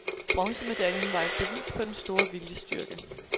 Bronzemedaljen var et bevis på den store viljestyrke.